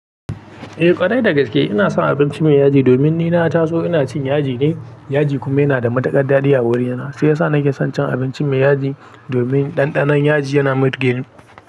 Eh ƙwarai da gaske. Ina son abinci mai yaji domin ni na taso ina cin yaji ne, yaji kuma yana da matukar daɗi a wurina. Ahi ya sa nake son cin abinci mai yaji domin ɗanɗanon yaji yana mitige ni.